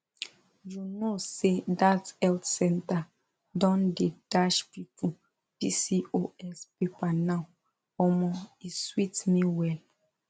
you know say that health center don dey dash people pcos paper now omo e sweet me well